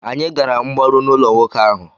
Anyị gara mgbaru n'ụlọ nwoke ahụ.